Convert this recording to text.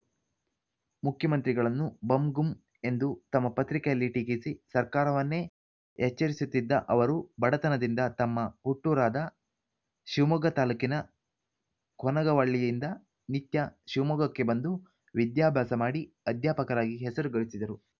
ಮುಖ್ಯಮಂತ್ರಿಗಳನ್ನು ಬಂಗುಂ ಎಂದು ತಮ್ಮ ಪತ್ರಿಕೆಯಲ್ಲಿ ಟೀಕಿಸಿ ಸರ್ಕಾರವನ್ನೇ ಎಚ್ಚರಿಸುತ್ತಿದ್ದ ಅವರು ಬಡತನದಿಂದ ತಮ್ಮ ಹುಟ್ಟೂರಾದ ಶಿವಮೊಗ್ಗ ತಾಲೂಕಿನ ಕೊನಗವಳ್ಳಿಯಿಂದ ನಿತ್ಯ ಶಿವಮೊಗ್ಗಕ್ಕೆ ಬಂದು ವಿದ್ಯಾಭ್ಯಾಸ ಮಾಡಿ ಅಧ್ಯಾಪಕರಾಗಿ ಹೆಸರು ಗಳಿಸಿದರು